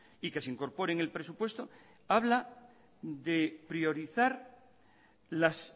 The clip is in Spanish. y que se incorpore en el presupuesto habla de priorizar las